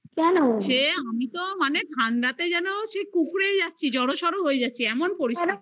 সে আমি তো মানে ঠান্ডাতে যেন কুকড়ে যাচ্ছি জড়সড় হয়ে যাচ্ছি এমন পরিস্থিতি